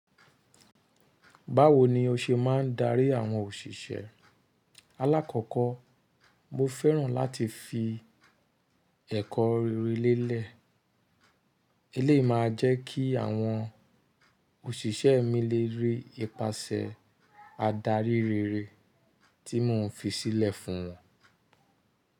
Báwo ni o ṣe máa ń darí àwọn òṣìṣẹ́? Alákọ̀ọkọ́ mo fẹ́ràn láti fi ẹ̀kọ́ rere lélẹ̀. Eléyìí máa jẹ́ kí àwọn òṣìṣẹ́ mi lè rí ipasẹ̀ adarí rere tí mò ń fi sílẹ̀ fún wọn.